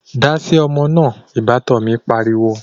Dáasi ọmọ náà' Ìbátan mi pariwo